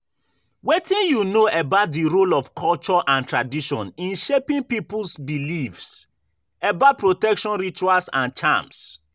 Wetin you know about di role of culture and tradition in shaping people's beliefs about protection rituals and charms?